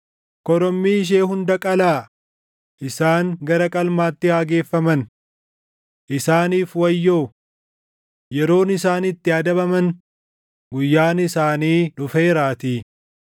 Korommii ishee hunda qalaa; isaan gara qalmaatti haa geeffaman! Isaaniif wayyoo! Yeroon isaan itti adabaman, guyyaan isaanii dhufeeraatii.